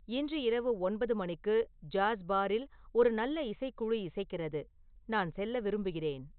இன்று இரவு ஒன்பது மணிக்கு ஜாஸ் பாரில் ஒரு நல்ல இசைக்குழு இசைக்கிறது நான் செல்ல விரும்புகிறேன்